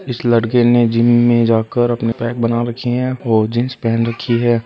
इस लड़के ने जिम में जाकर अपने पैक बना रखे है और जीन्स पहन रखी है।